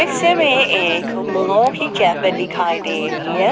दृश्य में एक कैफे दिखाई दे रही है।